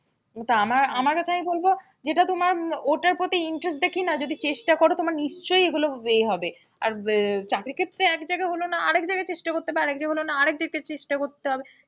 ওটা আমার আমার কথা আমি বলবো যেটা তোমার ওটার প্রতি interest দেখেই না যদি চেষ্টা করো তোমার নিশ্চয়ই এগুলো এ হবে, আর চাকরি ক্ষেত্রে এক জায়গায় হল না আর এক জায়গায় চেষ্টা করতে হবে, আর এক জায়গায় হল না আর এক জায়গায় চেষ্টা করতে হবে চেষ্টা,